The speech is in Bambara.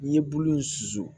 N ye bulu in susu